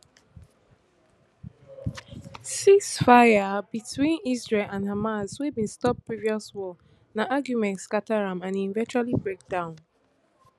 ceasefires between israel and hamas wey bin stop previous wars na arguments scata am and e eventually break down